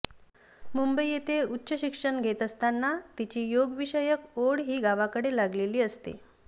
मुंबई येथे उच्च शिक्षण घेत असताना तिची योगविषयक ओढ हि गावाकडे लागलेली असते